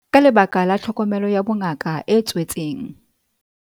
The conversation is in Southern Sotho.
Ka lebaka la tlhokomelo ya bongaka e tswetseng